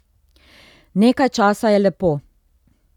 Nekaj časa je lepo.